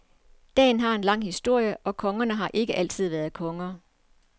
Dagen har en lang historie, og kongerne har ikke altid været konger.